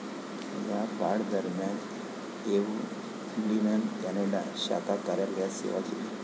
या काळादरम्यान एव्हलिननं कॅनडा शाखा कार्यालयात सेवा केली.